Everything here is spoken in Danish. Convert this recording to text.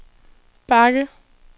bakke